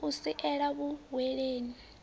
o ya u sela vhuhweni